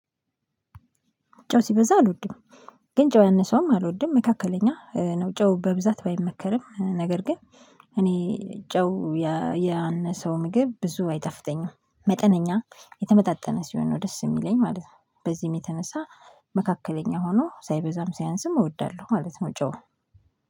ጨው ሲበዛ አልወድም። ግን ጨው ያነሰውም አልወድም መካከለኛ ነው ጨው በብዛት ባይመከርም ነገር ግን እኔ ጨው ያነሰው ምግብ ብዙ አይጣፍተጠኝም መጠነኛ የተመጣጠነ ሲሆን ነው ደስ የሚለኝ ማለት ነው። በዚህም የተነሳ መካከለኛ ሆኖ ሳይበዛም ሳይአንስም እወዳለሁ ማለት ነው። ጨው